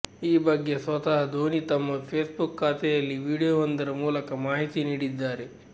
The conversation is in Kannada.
ಈ ಬಗ್ಗೆ ಸ್ವತಃ ಧೋನಿ ತಮ್ಮ ಫೇಸ್ಬುಕ್ ಖಾತೆಯಲ್ಲಿ ವಿಡಿಯೋವೊಂದರ ಮೂಲಕ ಮಾಹಿತಿ ನೀಡಿದ್ದಾರೆ